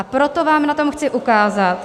A proto vám na tom chci ukázat...